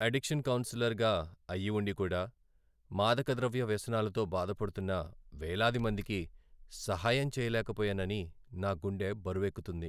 Addiction కౌన్సిలర్గా అయి ఉండి కూడా, మాదకద్రవ్య వ్యసనాలతో బాధపడుతున్న వేలాది మందికి సహాయం చేయలేకపోయానని నా గుండె బరువెక్కుతుంది.